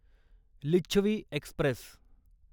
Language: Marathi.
लिच्छवी एक्स्प्रेस